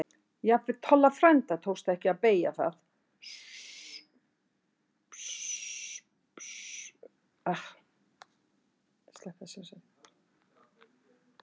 Jafnvel Tolla frænda tókst ekki að beygja það um svo mikið sem millimeter.